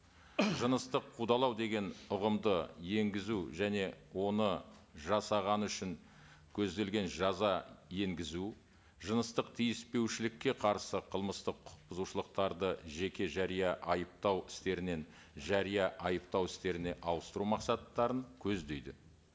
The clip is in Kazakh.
жыныстық қудалау деген ұғымды енгізу және оны жасағаны үшін көзделген жаза енгізу жыныстық тиіспеушілікке қарсы қылмыстық құқық бұзушылықтарды жеке жария айыптау істерінен жария айыптау істеріне ауыстыру мақсаттарын көздейді